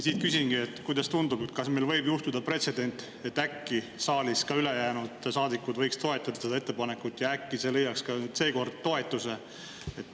Küsingi, et kuidas sulle tundub, kas võib äkki seekord juhtuda pretsedent, et saadikud toetavad ettepanekut.